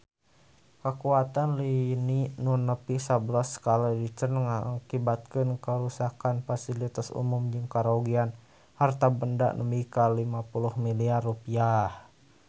Kakuatan lini nu nepi sabelas skala Richter ngakibatkeun karuksakan pasilitas umum jeung karugian harta banda nepi ka 50 miliar rupiah